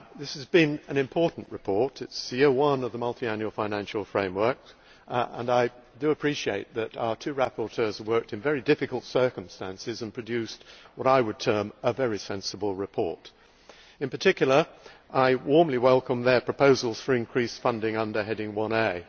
This has been an important report. It is year one of the Multiannual Financial Framework and I appreciate that our two rapporteurs have worked in very difficult circumstances and have produced what I would term a very sensible report. In particular, I warmly welcome their proposals for increased funding under heading 1A.